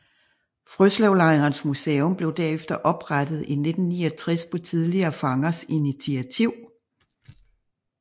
Frøslevlejrens Museum blev derefter oprettet i 1969 på tidligere fangers initiativ